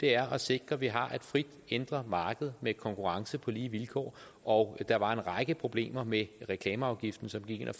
er at sikre at vi har et frit indre marked med konkurrence på lige vilkår og der var en række problemer med reklameafgiften som gik ind og